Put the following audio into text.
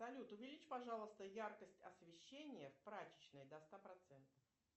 салют увеличь пожалуйста яркость освещения в прачечной до ста процентов